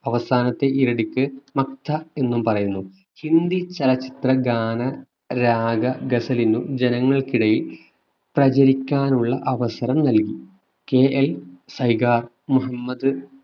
അവസാനത്തെ ഈരടിക്ക് മഗ്ഥ എന്നും പറയുന്നു ഹിന്ദി ചലച്ചിത്ര ഗാന രാഗ ഗസലിനും ജനങ്ങൾക്കിടയിൽ പ്രചരിക്കാനുള്ള അവസരം നൽകി കെഎൽ സൈഗ മുഹമ്മദ്